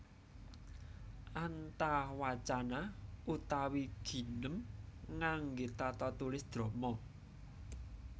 Antawacana utawi ginem ngangge tata tulis drama